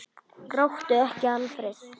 Gráttu ekki, Alfreð!